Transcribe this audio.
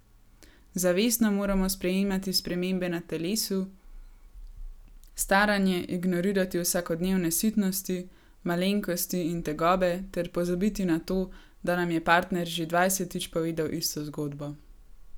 Zavestno moramo sprejemati spremembe na telesu, staranje, ignorirati vsakodnevne sitnosti, malenkosti in tegobe ter pozabiti na to, da nam je partner že dvajsetič povedal isto zgodbo.